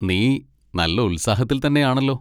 നീ നല്ല ഉത്സാഹത്തിൽത്തന്നെയാണല്ലോ.